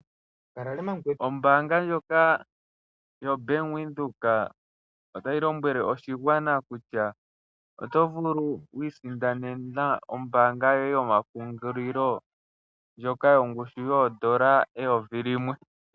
Ombaanga ndjoka yoBank Windhoek otayi lombwele oshigwana kutya oto vulu oku isindanena omayalulo goye gomapungulilo ndjoka yongushu yoodola eyovi limwe.